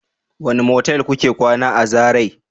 wane motel kuka kwana a zarai?